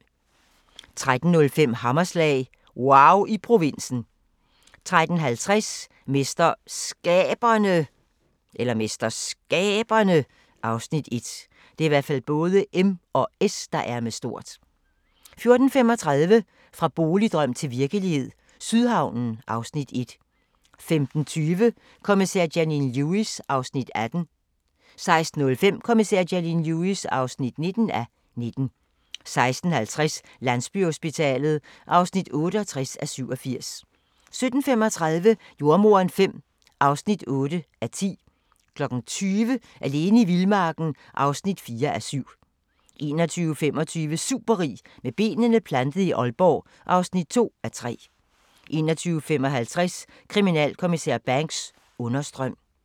13:05: Hammerslag – wauw i provinsen 13:50: MesterSkaberne (Afs. 1) 14:35: Fra boligdrøm til virkelighed – Sydhavnen (Afs. 1) 15:20: Kommissær Janine Lewis (18:19) 16:05: Kommissær Janine Lewis (19:19) 16:50: Landsbyhospitalet (68:87) 17:35: Jordemoderen V (8:10) 20:00: Alene i vildmarken (4:7) 21:25: Superrig med benene plantet i Aalborg (2:3) 21:55: Kriminalinspektør Banks: Understrøm